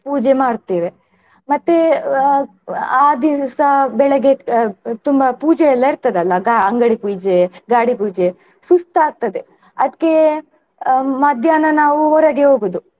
ಪೂಜೆ ಮಾಡ್ತೇವೆ ಮತ್ತೆ ಅಹ್ ಆ ದಿವಸ ಬೆಳಗ್ಗೆ ಅಹ್ ತುಂಬಾ ಪೂಜೆ ಎಲ್ಲಾ ಇರ್ತದಲ್ಲಾ ಅಂಗಡಿ ಪೂಜೆ, ಗಾಡಿ ಪೂಜೆ ಸುಸ್ತ್ ಆಗ್ತದೆ ಅದ್ಕೆ ಅಹ್ ಮಧ್ಯಾಹ್ನ ನಾವು ಹೊರಗೆ ಹೋಗುದು.